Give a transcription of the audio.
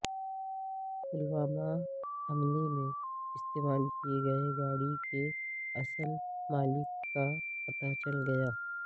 پلوامہ حملے میں استعمال کئے گئے گاڑی کے اصل مالک کا پتہ چل گیا